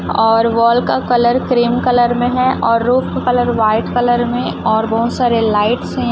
और वॉल का colour cream colour में है और रूम का कलर वाइट कलर में और बहोत सारे लाइट्स है यहाँ --